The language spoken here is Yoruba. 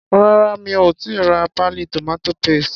Rárá mi ò tíì ra páálí tomato paste.